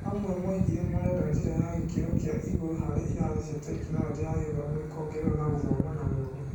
Amwe maugire marenda njĩra ya gĩkĩro kĩa igũrũ harĩa irathi cia Tekinoronjĩ ya Gĩthomo ikongererwo na gũthoma na mũndũ.